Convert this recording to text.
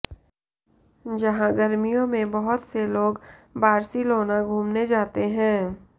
जहां गर्मियों में बहुत से लोग बार्सिलोना घूमने जाते हैं